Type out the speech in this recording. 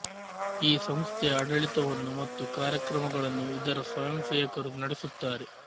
ಈ ಸಂಸ್ಥೆಯ ಆಡಳಿತವನ್ನು ಮತ್ತು ಕಾರ್ಯಕ್ರಮಗಳನ್ನು ಇದರ ಸ್ವಯಂಸೇವಕರು ನಡೆಸುತ್ತಾರೆ